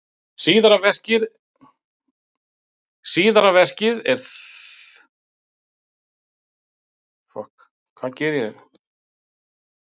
Síðara verkið er þrjátíu binda lýsing á íslömskum lögum og guðfræði.